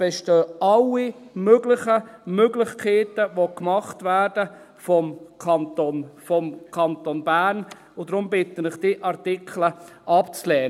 Es bestehen alle möglichen Möglichkeiten, die gemacht werden vom Kanton Bern und darum bitte ich Sie, diese Artikel abzulehnen.